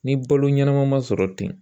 Ni balo ɲɛnama ma sɔrɔ ten